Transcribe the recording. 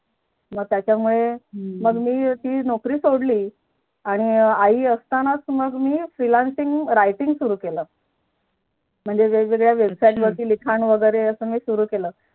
मग त्याच्या मुले मी ती नोकरी सोडली मग आई असतानाच मी Freelancing writing सुरु केली म्हणजे वेग वेगळ्या विशयानावर मी लिखाण वैगेरे मी सुरु केलं